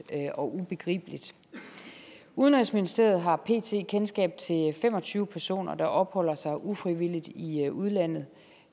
og ubegribeligt udenrigsministeriet har pt kendskab til fem og tyve personer der opholder sig ufrivilligt i udlandet